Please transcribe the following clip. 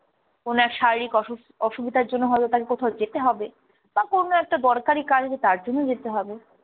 কোনো এক শারীরিক অসু~ অসুবিধার জন্য হয়তো তাকে কোথাও যেতে হবে, বা কোনো একটা দরকারি কাজ আছে তার জন্য যেতে হবে